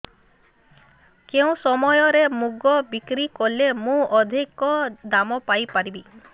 କେଉଁ ସମୟରେ ମୁଗ ବିକ୍ରି କଲେ ମୁଁ ଅଧିକ ଦାମ୍ ପାଇ ପାରିବି